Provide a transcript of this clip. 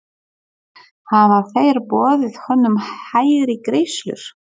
Hafa þeir boðið honum hærri greiðslur?